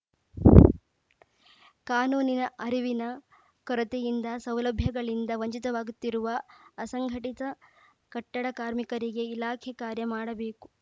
ಕಾನೂನಿನ ಅರಿವಿನ ಕೊರತೆಯಿಂದ ಸೌಲಭ್ಯಗಳಿಂದ ವಂಚಿತವಾಗುತ್ತಿರುವ ಅಸಂಘಟಿತ ಕಟ್ಟಡ ಕಾರ್ಮಿಕರಿಗೆ ಇಲಾಖೆ ಕಾರ್ಯ ಮಾಡಬೇಕು